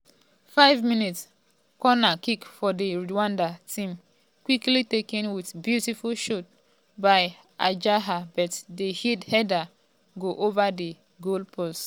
5mins- corner kick for di rwandan team quickly taken wit beautiful shot by djihad but di header go ova di goalpost.